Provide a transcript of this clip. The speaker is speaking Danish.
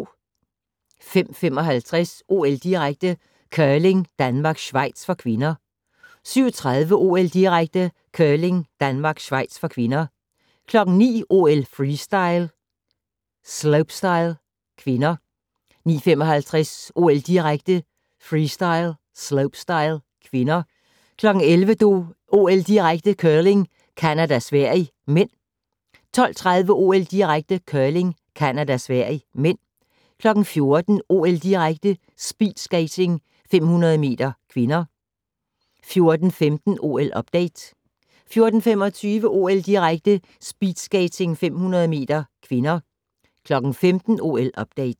05:55: OL-direkte: Curling - Danmark-Schweiz (k) 07:30: OL-direkte: Curling - Danmark-Schweiz (k) 09:00: OL: Freestyle - slopestyle (k) 09:55: OL-direkte: Freestyle - slopestyle (k) 11:00: OL-direkte: Curling - Canada-Sverige (m) 12:30: OL-direkte: Curling - Canada-Sverige (m) 14:00: OL-direkte: Speedskating 500 m (k) 14:15: OL-update 14:25: OL-direkte: Speedskating 500 m (k) 15:00: OL-update